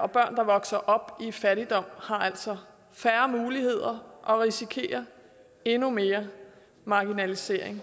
og børn der vokser op i fattigdom har altså færre muligheder og risikerer endnu mere marginalisering